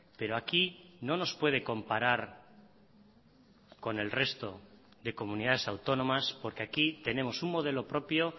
pero aquí no nos puede comparar con el resto de comunidades autónomas porque aquí tenemos un modelo propio